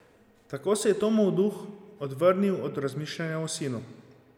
Tako se je Tomov duh odvrnil od razmišljanja o sinu.